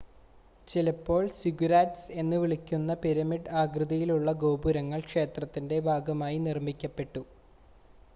ചിലപ്പോൾ സിഗുരാറ്റ്‌സ് എന്ന് വിളിക്കുന്ന പിരമിഡ് ആകൃതിയിലുള്ള ഗോപുരങ്ങൾ ക്ഷേത്രത്തിൻ്റെ ഭാഗമായി നിർമ്മിക്കപ്പെട്ടു